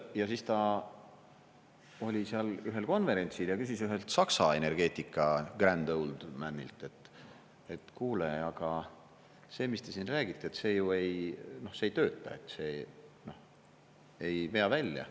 Ja siis ta oli seal ühel konverentsil ja küsis ühelt Saksa energeetika grand old man'ilt, et kuule, aga see, mis te siin räägite, see ju ei tööta, ei vea välja.